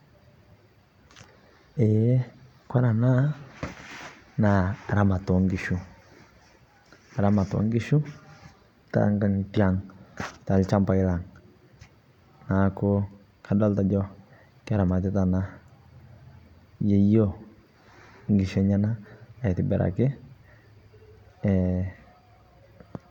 kore anaa naa ramat ee nkishuu tenkangitee aang talshampai lang. Naaku kadolita ajo keramatitaa anaa yeyio nkishuu enyanaa aitibirakii.